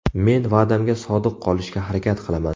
Men va’damga sodiq qolishga harakat qilaman.